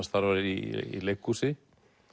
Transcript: starfar í leikhúsi